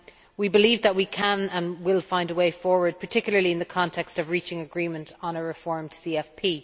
We believe that we can and will find a way forward particularly in the context of reaching agreement on a reformed CFP.